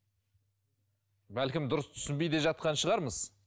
бәлкім дұрыс түсінбей де жатқан шығармыз